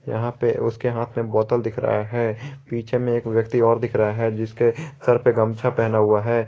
यहां पे उसके हाथ में बोतल दिख रहा है पीछे में एक व्यक्ति और दिख रहा है जिसके सर पे गमछा पहना हुआ है।